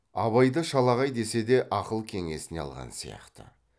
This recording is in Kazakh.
абайды шалағай десе де ақыл кеңесіне алған сияқты